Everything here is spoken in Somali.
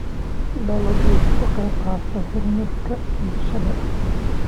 Dalaggu wuxuu ka qayb qaataa horumarka bulshada.